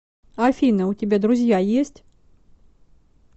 афина у тебя друзья есть